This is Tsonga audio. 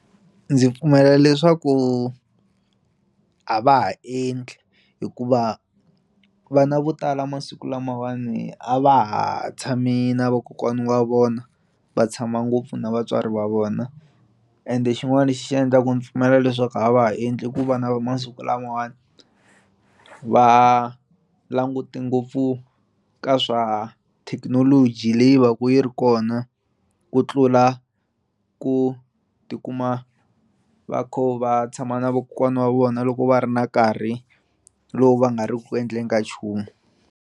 Ndzi pfumela leswaku a va ha endli hikuva vana vo tala masiku lamawani a va ha tshami na vakokwana wa vona va tshama ngopfu na vatswari va vona ende xin'wana xi endlaku ni pfumela leswaku a va ha endli ku va na masiku lamawani va languti ngopfu ka swa thekinoloji leyi va ku yi ri hi kona ku tlula ku tikuma va kho va tshama na vokokwana wa vona loko va ri na nkarhi lowu va nga ri ku endleni ka nchumu.